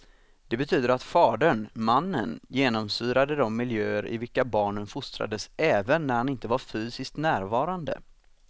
Det betyder att fadern, mannen, genomsyrade de miljöer i vilka barnen fostrades även när han inte var fysiskt närvarande.